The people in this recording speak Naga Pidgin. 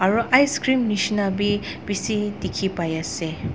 aro icecream neshina be besi teki pai ase.